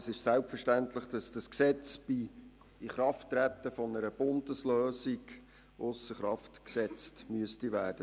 Es ist selbstverständlich, dass das Gesetz bei Inkrafttreten einer Bundeslösung ausser Kraft gesetzt werden müsste.